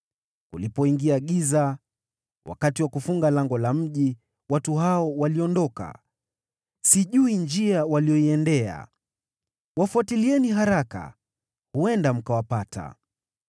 Kulipoingia giza, wakati wa kufunga lango la mji, watu hao waliondoka. Sijui njia waliyoiendea. Wafuatilieni haraka. Huenda mkawapata.”